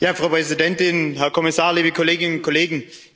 Frau Präsidentin, Herr Kommissar, liebe Kolleginnen und Kollegen!